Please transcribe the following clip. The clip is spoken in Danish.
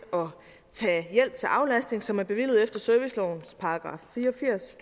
tage hjælp til aflastning som er bevilget efter servicelovens § fire og firs